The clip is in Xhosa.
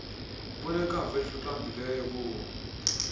obunekamva eliqaqambileyo bomi